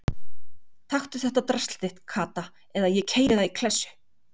Taktu þetta drasl þitt Kata eða ég keyri það í klessu